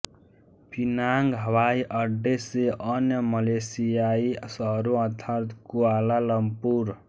पिनांग हवाई अड्डे से अन्य मलेशियाई शहरों अर्थात कुआला लम्पुर